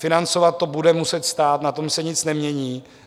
Financovat to bude muset stát, na tom se nic nemění.